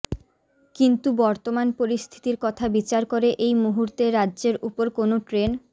কিন্তু বর্তমান পরিস্থিতির কথা বিচার করে এই মুহূর্তে রাজ্যের উপর কোনও ট্রেন